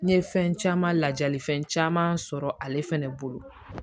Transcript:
N ye fɛn caman lajali fɛn caman sɔrɔ ale fɛnɛ bolo